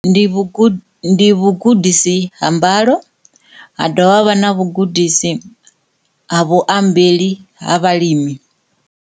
Ndi vhugudi, ndi vhugudisi ha mbalo ha dovha ha vha na vhugudisi ha vhuambeli ha vhalimi.